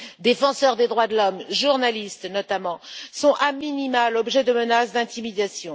Défenseurs des droits de l'homme, journalistes, notamment, sont a minima l'objet de menaces d'intimidation.